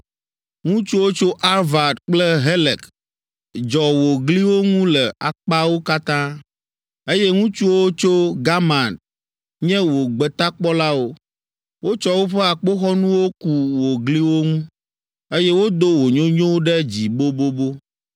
Ŋutsuwo tso Arvad kple Helek dzɔ wò gliwo ŋu le akpawo katã, eye ŋutsuwo tso Gamad nye wò gbetakpɔlawo. Wotsɔ woƒe akpoxɔnuwo ku wò gliwo ŋu, eye wodo wò nyonyo ɖe dzi bobobo.